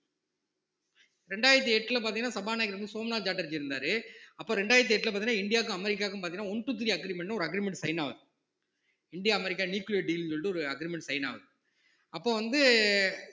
இரண்டாயிரத்தி எட்டுல பார்த்தீங்கன்னா சபாநாயகர் வந்து சோமனாட்சேட்டர்ஜி இருந்தாரு அப்போ இரண்டாயிரத்து எட்டுல பார்த்தீங்கன்னா இந்தியாவுக்கும் அமெரிக்காவுக்கும் பார்த்தீங்கன்னா one two three agreement ஒரு agreement sign ஆகுது இந்தியா அமெரிக்கா nuclear deal ன்னு சொல்லிட்டு ஒரு agreement sign ஆகுது அப்ப வந்து